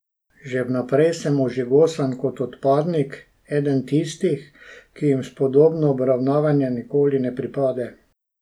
Že vnaprej sem ožigosan kot odpadnik, eden tistih, ki jim spodobno obravnavanje nikoli ne pripade.